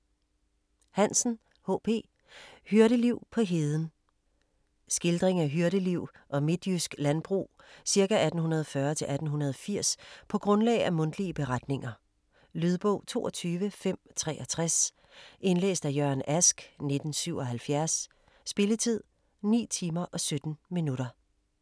Hansen, H. P.: Hyrdeliv på heden Skildring af hyrdeliv og midtjysk landbrug ca 1840-1880 på grundlag af mundtlige beretninger. Lydbog 22563 Indlæst af Jørgen Ask, 1977. Spilletid: 9 timer, 17 minutter.